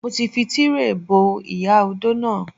Mo ti fi Tíréè bo ìyá odó náà.